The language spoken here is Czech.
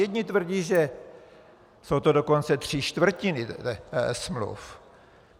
Jedni tvrdí, že jsou to dokonce tři čtvrtiny smluv.